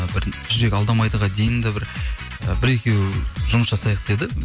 жүрек алдамайдыға дейін да бір і бір екеу жұмыс жасайық деді